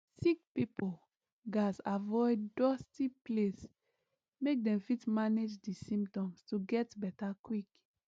sick pipo gatz avoid dusty place make dem fit manage di symptoms to get beta quick